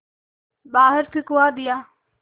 बाहर फिंकवा दिया